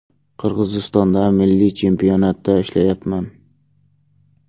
Qirg‘izistonda milliy chempionatda ishlayapman.